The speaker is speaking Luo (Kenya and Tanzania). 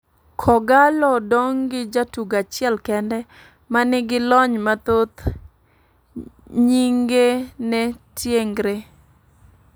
Kogallo dong' gi jatugo achiel kende ,ma nigi lony mathoth, nying'e ne Tiengre.